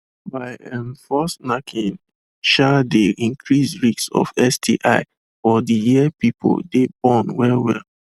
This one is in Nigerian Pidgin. by um force knacking um dey increase risks of sti for de year people dey well well